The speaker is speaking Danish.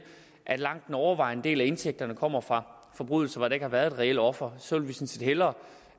at langt den overvejende del af indtægterne kommer fra forbrydelser ikke har været et reelt offer vi sådan set hellere